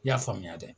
I y'a faamuya dɛ